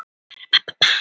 Nóa, hringdu í Anní.